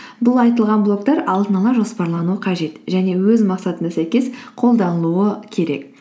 бұл айтылған блоктар алдын ала жоспарлану қажет және өз мақсатына сәйкес қолданылуы керек